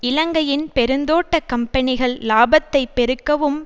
இலங்கையின் பெருந்தோட்டக் கம்பனிகள் இலாபத்தை பெருக்கவும்